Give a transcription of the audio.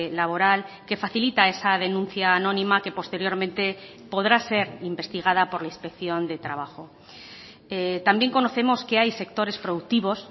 laboral que facilita esa denuncia anónima que posteriormente podrá ser investigada por la inspección de trabajo también conocemos que hay sectores productivos